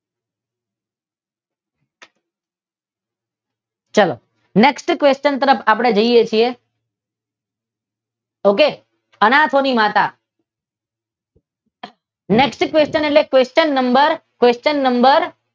ચાલો next question તરફ આપડે જઈએ છીએ ઓકે અનાથોની માતા નેક્સ્ટ ક્વેચન એટલે ક્વેચન નંબર